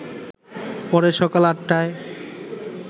পরে সকাল ৮টায়